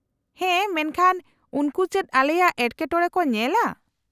-ᱦᱮᱸ, ᱢᱮᱱᱠᱷᱟᱱ ᱩᱱᱠᱩ ᱪᱮᱫ ᱟᱞᱮᱭᱟᱜ ᱮᱴᱠᱮᱴᱚᱬᱮ ᱠᱚ ᱧᱮᱞᱟ ?